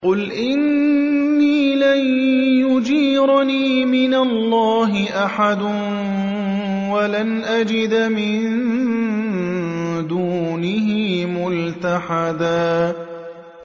قُلْ إِنِّي لَن يُجِيرَنِي مِنَ اللَّهِ أَحَدٌ وَلَنْ أَجِدَ مِن دُونِهِ مُلْتَحَدًا